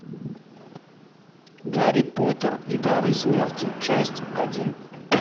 гарри поттер и дары смерти часть один